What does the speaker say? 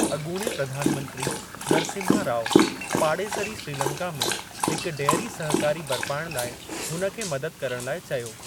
अॻूणे प्रधान मंत्री नरसिम्हा राव पाड़ेसरी श्रीलंका में हिक डेयरी सहकारी बर्पाइण लाइ हुन खे मदद करण लाइ चयो।